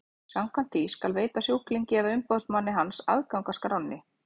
Samkvæmt því skal veita sjúklingi eða umboðsmanni hans aðgang að skránni.